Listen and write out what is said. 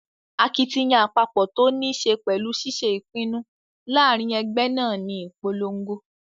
Akitiyan àpapọ̀ tó ní ṣe pẹ̀lú ṣiṣé ìpinnu láàrin ẹgbẹ́ náà ní ìponlogo